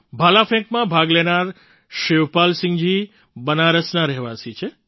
ભાલા ફેંકમાં ભાગ લેનારા શિવપાલસિંહજી બનારસના રહેવાસી છે